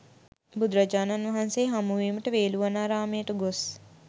බුදුරජාණන් වහන්සේ හමුවීමට වේළුවනාරාමයට ගොස්